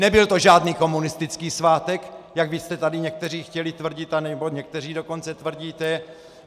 Nebyl to žádný komunistický svátek, jak vy jste tady někteří chtěli tvrdit, anebo někteří dokonce tvrdíte.